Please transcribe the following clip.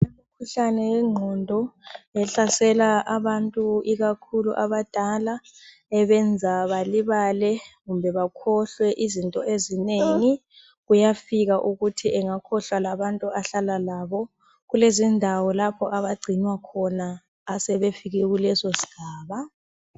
imikhuhlane yenqondo ehlasesa abantu ikakhulu abadala ebayenza balibale kumbe bekhohlwe into ezinengi kuyafika ukuthi engakhohlwa labntu ahlala labo kulezindawo lapho abacinwa khona abasebefike kuleso sigaba